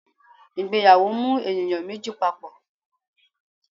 Ìgbéyàwó mú eníyan mejí papọ